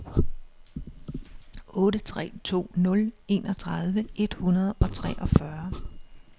otte tre to nul enogtredive et hundrede og treogfyrre